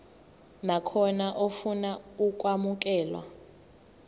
nakhona ofuna ukwamukelwa